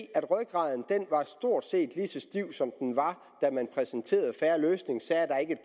at rygraden stort set var lige så stiv som den var da man præsenterede en fair løsning